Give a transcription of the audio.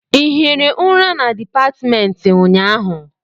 Ị hiri ụra na dipatịmentị ụnyaahụ?